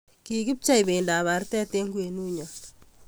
Kikipchei bendab artet eng kwenunyo.